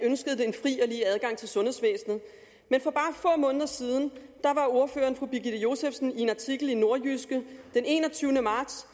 i adgang til sundhedsvæsenet men for bare få måneder siden var ordføreren fru birgitte josefsen i en artikel i nordjyske den enogtyvende marts